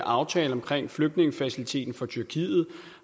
aftale omkring flygtningefaciliteten for tyrkiet